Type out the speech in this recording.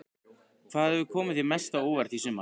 Hvað hefur komið þér mest á óvart í sumar?